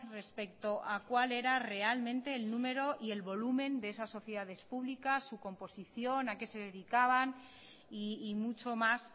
respecto a cuál era realmente el número y el volumen de esas sociedades públicas su composición a qué se dedicaban y mucho más